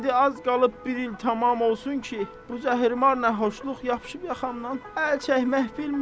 İndi az qalıb bir il tamam olsun ki, bu zəhrimar nə xoşluq yapışıb yaxamdan əl çəkmək bilmir.